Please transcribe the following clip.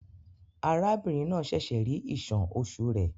Arábìnrin náà ṣẹ̀ṣẹ̀ rí ìṣàn oṣù rẹ̀.